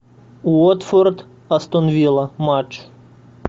уотфорд астон вилла матч